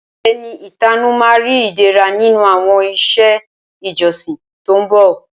Ẹni ìtanú ma ri Ìdẹ̀ra nínú àwọn iṣẹ́ ìjọsìn tó ń bọ̀